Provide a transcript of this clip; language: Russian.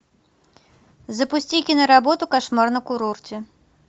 запусти киноработу кошмар на курорте